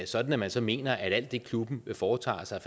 sådan at man så mener at alt det klubben foretager sig